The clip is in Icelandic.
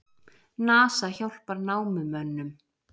NASA hjálpar námumönnum